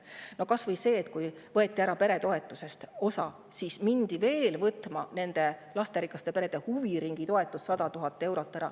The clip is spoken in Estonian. No kas või see, et pärast seda, kui osa peretoetusest oli ära võetud, mindi ja võeti veel ära ka lasterikaste perede huviringitoetus 100 000 eurot.